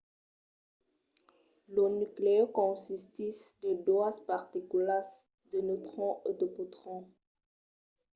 lo nuclèu consistís de doas particulas - de neutrons e de protons